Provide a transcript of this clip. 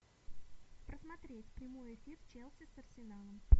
посмотреть прямой эфир челси с арсеналом